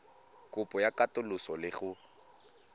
kopo ya katoloso le go